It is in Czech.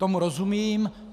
Tomu rozumím.